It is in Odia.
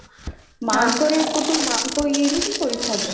ମାଙ୍କର ଏପଟୁ ମାନକ ଇଏରୁବି ପଇସା ହବ